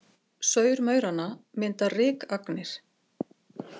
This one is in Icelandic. Saur mauranna mynda rykagnir.